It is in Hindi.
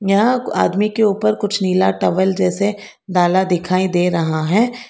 यहाँ आदमी के उपर कुछ नीला टॉवल जैसे डाला दिखाई दे रहा है।